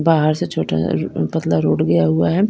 बाहर से छोटा पतला रोड गया हुआ है।